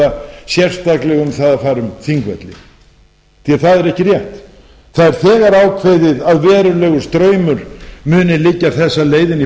sérstaklega um það að fara um þingvelli því að það er ekki rétt það er þegar ákveðið að verulegur straumur muni liggja þessa leið inn í